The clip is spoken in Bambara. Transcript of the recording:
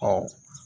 Ɔ